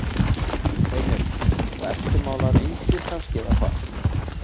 Heimir: Og eftirmálar engir kannski eða hvað?